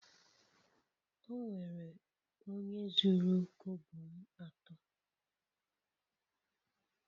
Onwere onye zuru kobo m ato